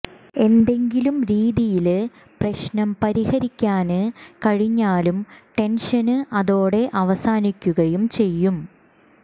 എന്തെങ്കിലും രീതിയില് പ്രശ്നം പരിഹരിക്കാന് കഴിഞ്ഞാല് ടെന്ഷന് അതോടെ അവസാനിക്കുകയും ചെയ്യും